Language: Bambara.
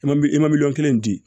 I ma i ma miliyɔn kelen di